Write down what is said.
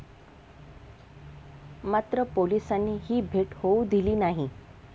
मात्र पोलिसांनी ही भेट होऊ दिली नाही.